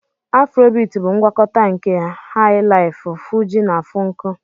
Afrobiti bụ ngwakọta nke Hai-laifu, Fuji na Funku.